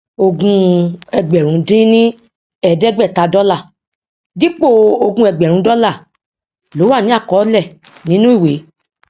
ogún ẹgbèrún dín ní èédégbèta dólà dípò ogún ẹgbèrún dólà ló wà ní àkọólè nínú ìwé